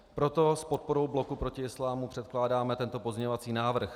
Proto s podporou Bloku proti islámu předkládáme tento pozměňovací návrh.